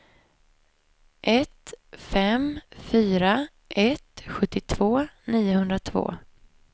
ett fem fyra ett sjuttiotvå niohundratvå